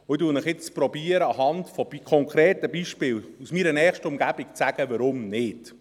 Ich versuche nun, Ihnen anhand konkreter Beispiele aus meiner nächsten Umgebung zu sagen, weshalb nicht.